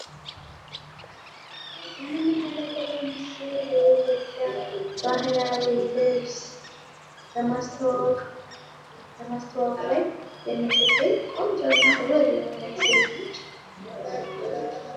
የምንመለከተው ምስል የኢትዮጵያ ባህላዊ ልብስ በማስታወቅ ላይ የምትገኝ ቆንጆና ውብ የሆነች ሴት ነች።